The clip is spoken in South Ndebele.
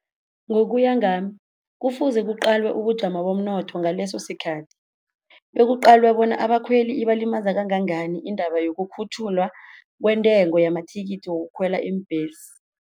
Ngokuya ngami kufuze kuqalwe ubujamo bomnotho ngaleso sikhathi, bekuqalwe bona abakhweli ibalimaza kangangani iindaba wokukhutjhulwa kwentengo yamathikithi wokukhwela iimbhesi.